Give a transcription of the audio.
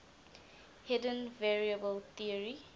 hidden variable theory